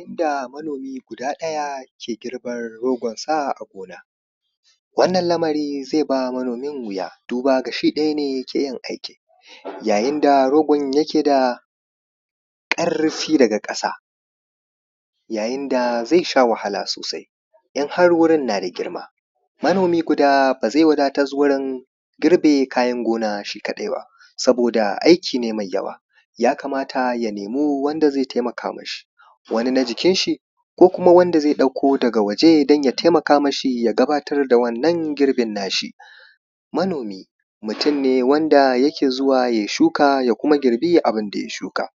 yanda manomi guda daya yake girban sa a gona wannan lamari zai ba manomi wuya duba da shi kadai ne yakeyi aikin ya yinda rogon yake da karfi daga kasa ya yinda zai sha wahala sosai inhar wurin nada girma manomi guda bazai wadatas gurin girbe kayan gona shi kadai ba saboda aiki ne mai yawa yakamata ya nemi wanda zai taimaka mashi wani na jikin shi komkuma wanda zai dauke daga waje dan ya taimaka mashi ya gama wannan girbin nashi manomi mutun wanda yake zuwa yayi shuka kuma ya girbe abunda ya shuka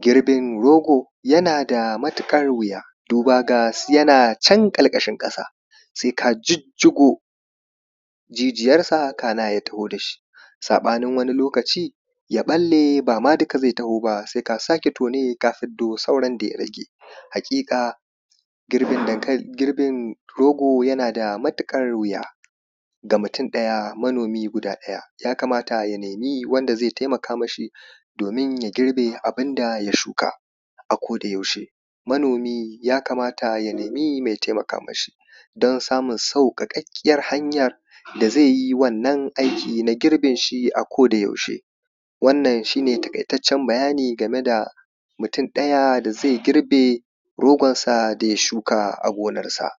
girbin rogo yanada matukar wuya dubada yana can karkashin kasa sai ka jijjigo jijiyar sa kana ya taho dashi sabanin wani lokaci ya balle bama duka zai taho ba sai ka sake tone ka hiddo sauran daya rage hakika girbin rogo yanada matukar wuya ga mutun daya manomi mutun daya manomi mutun daya ya kamata ya nemi wanda zai taimaka mashi domin ya girbe abunda ya shuka akoda yaushe manomi ya kamata ya nemi mai taimaka mashi dan samun sauka kakkiyar hanyan da zaiyi wannan aiki na girbi shi akoda yaushe wannan shine takaitaccen bayani akan mutun daya da zai girbe rogonsa daya shuka a gonar sa